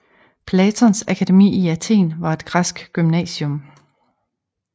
Platons akademi i Athen var et græsk gymnasium